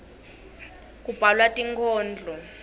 kubhalwa tinkhondlo